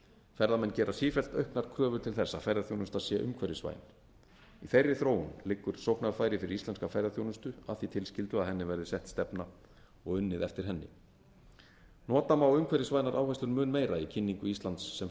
ferðamenn gera sífellt auknar kröfur til þess að ferðaþjónusta sé umhverfisvæn í þeirri þróun liggur sóknarfæri fyrir íslenska ferðaþjónustu að því tilskildu að henni verði sett stefna og unnið eftir henni nota má umhverfisvænar áherslur mun meira í kynningu íslands sem